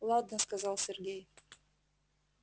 ладно сказал сергей